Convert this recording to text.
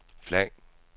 flag